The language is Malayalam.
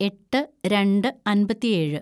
എട്ട് രണ്ട് അമ്പത്തിയേഴ്‌